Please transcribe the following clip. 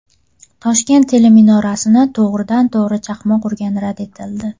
Toshkent teleminorasini to‘g‘ridan-to‘g‘ri chaqmoq urgani rad etildi.